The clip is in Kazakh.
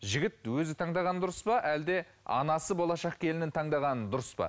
жігіт өзі таңдаған дұрыс па әлде анасы болашақ келінін таңдағаны дұрыс па